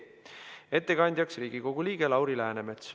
Ettekandjaks on Riigikogu liige Lauri Läänemets.